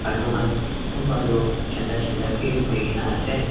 alu khan kunba tu chinda Chinda bi hoikae na ase.